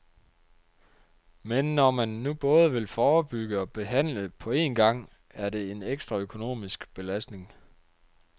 Men når man nu både vil forebygge og behandle på en gang, er det en ekstra økonomisk belastning.